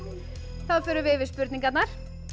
þá förum við yfir spurningarnar